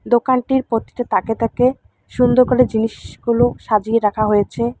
দোকানটির প্রতিটি তাকে তাকে সুন্দর করে জিনিসগুলো সাজিয়ে রাখা হয়েছে।